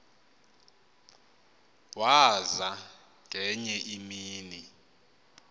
waza ngenye imini